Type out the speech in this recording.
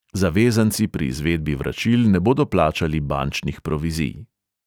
Zavezanci pri izvedbi vračil ne bodo plačali bančnih provizij.